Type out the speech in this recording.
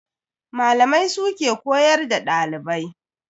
Malamai su ke koyar da dalibai.